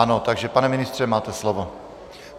Ano, takže pane ministře, máte slovo.